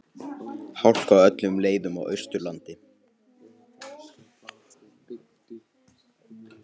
Hálka á öllum leiðum á Austurlandi